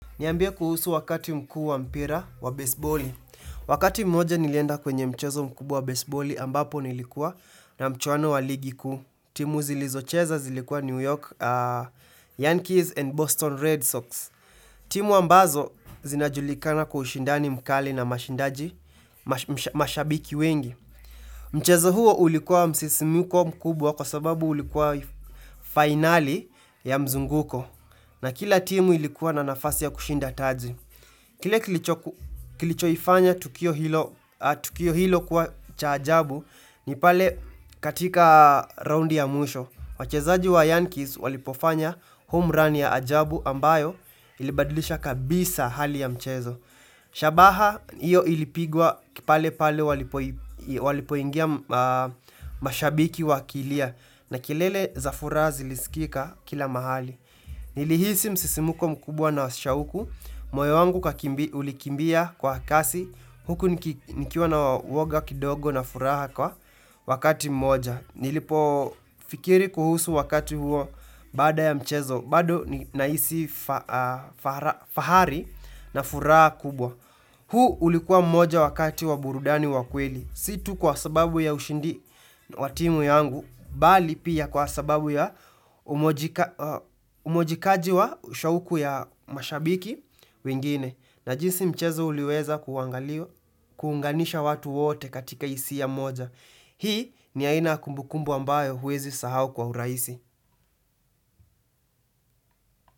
Niambie kuhusu wakati mkuu wa mpira wa baseboli. Wakati mmoja nilienda kwenye mchezo mkubwa wa baseboli ambapo nilikuwa na mchwano wa ligi kuu. Timu zilizocheza zilikuwa New York Yankees and Boston Red Sox. Timu ambazo zinajulikana kwa ushindani mkali na mashindaji mashabiki wengi. Mchezo huo ulikuwa msisimko mkubwa kwa sababu ulikuwa finali ya mzunguko. Na kila timu ilikuwa na nafasi ya kushinda taji. Kile kilichoifanya tukio hilo kuwa cha ajabu ni pale katika raundi ya mwisho. Wachezaji wa Yankees walipofanya homerun ya ajabu ambayo ilibadilisha kabisa hali ya mchezo. Shabaha iyo ilipigwa pale pale walipoingia mashabiki wakilia na kelele za furaha ziliskika kila mahali. Nilihisi msisimko mkubwa na shauku, moyo wangu uka ulikimbia kwa kasi huku nikiwa na uwoga kidogo na furaha kwa wakati mmoja. Nilipofikiri kuhusu wakati huo baada ya mchezo, bado ninahisi fahari na furaha kubwa. Huu ulikuwa mmoja wakati wa burudani wa kweli. Si tu kwa sababu ya ushindi wa timu yangu, bali pia kwa sababu ya umojikaji wa shauku ya mashabiki wengine. Na jinsi mchezo uliweza kuangaliwa kuunganisha watu wote katika hisia moja. Hii ni aina kumbukumbu ambayo huwezi sahau kwa urahisi.